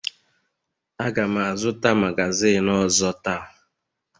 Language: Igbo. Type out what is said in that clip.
Aga m azụta magazin ọzọ taa